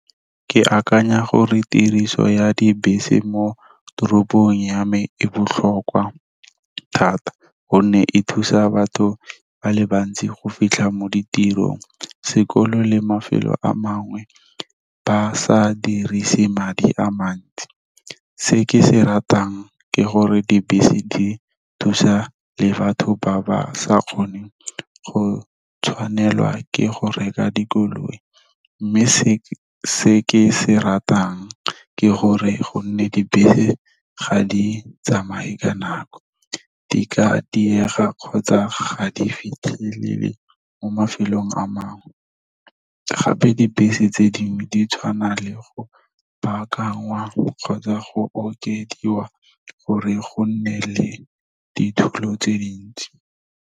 Ke akanya gore tiriso ya dibese mo toropong ya me e botlhokwa thata, gonne e thusa batho ba le bantsi go fitlha mo ditirong, sekolo le mafelo a mangwe ba sa dirise madi a mantsi. Se ke se ratang ke gore dibese, di thusa le batho ba ba sa kgoneng go tshwanelwa ke go reka dikoloi, mme se ke se ratang ke gore gonne dibese ga di tsamaye ka nako. Di ka diega kgotsa ga di fitlhelele mo mafelong a mangwe, gape dibese tse dingwe di tshwana le go baakangwa kgotsa go okediwa gore go nne le ditulo tse dintsi.